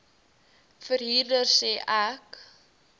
verhuurder sê ek